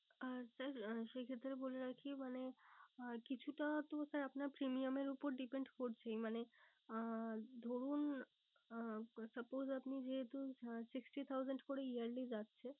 আহ sir সেই ক্ষেত্রে বলে রাখি মানে আহ কিছুটা তো sir আপনার premium এর ওপর depent করছেই মানে আহ ধরুন আহ suppose আপনি যেহেতু sixty thousand করে yearly যাচ্ছে